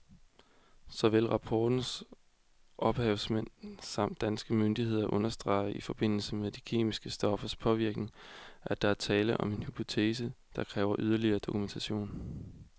Såvel rapportens ophavsmænd samt danske myndigheder understreger i forbindelse med de kemiske stoffers påvirkning, at der er tale om en hypotese, der kræver yderligere dokumentation.